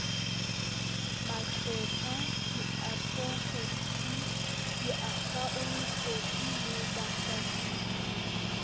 maqwetha diadvokheiti diakhaontente le bahlakisi